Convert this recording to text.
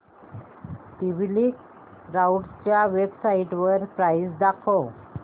TP link राउटरच्या वेबसाइटवर price दाखव